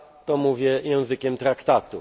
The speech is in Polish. Kiedy mówię wspólna waluta,